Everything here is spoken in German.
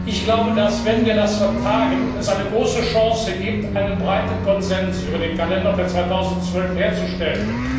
Ich glaube, dass es im Falle einer Vertagung eine große Chance gibt, einen breiten Konsens über den Kalender für 2012 herzustellen.